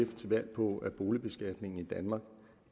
til valg på at boligbeskatningen i danmark